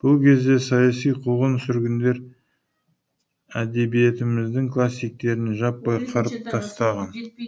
бұл кезде саяси қуғын сүргіндер әдбиетіміздің классиктерін жаппай қырып тастаған